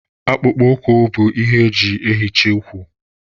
Akpụkpọ ụkwụ bụ ihe eji eyichi ụkwụ